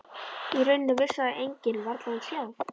Í rauninni vissi það enginn, varla hún sjálf.